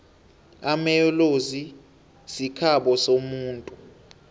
amaellozi sikhabo somuntu